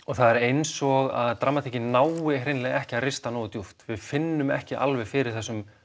það er eins og dramatíkin nái hreinlega ekki að rista nógu djúpt við finnum ekki alveg fyrir þessum